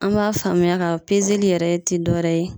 An b'a faamuya k'a fɔ yɛrɛ tɛ dɔwɛrɛ ye.